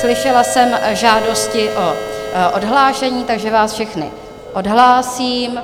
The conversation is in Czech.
Slyšela jsem žádosti o odhlášení, takže vás všechny odhlásím.